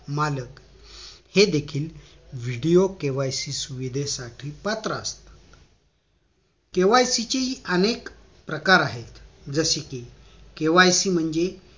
मालक हे देखील video KYC सुविधेसाठी पात्र असतात KYC चे हि अनेक प्रकार आहेत जसे कि KYC म्हणजे